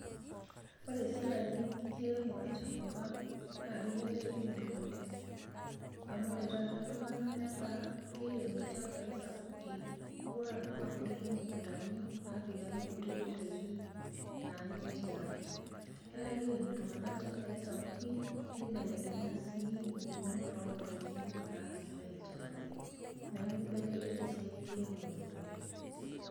Oore esiai enkiremore tenkop ang' naa keibelekenye oleng'. Amuu oore taata iltung'anak netaa jkeirem ilchambai sapuki. Mekuure aah inapa mukundani naapiki aake inkutiti daiki naanyae tiang'.Etaa keirem iltung'anak ilchambai sapuki neibelekenya sii impukunot on'daiki naapikitae ilchambai. Niaku eibelekenye esiai enkiremore oleng'.